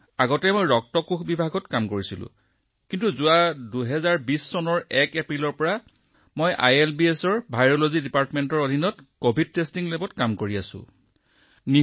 sir যদিও মই সকলো ঠাইতে ৰক্ত কোষ বিভাগত সেৱা আগবঢ়াইছো যোৱা বছৰ ১ এপ্ৰিল ২০২০ ৰ পৰা মই আইএলবিএছৰ ভাইৰোলজি বিভাগৰ অধীনত কভিড পৰীক্ষাগাৰত কাম কৰি আছো